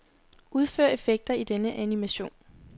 Udfør effekter i denne animation.